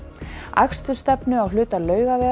akstursstefnu á hluta Laugavegar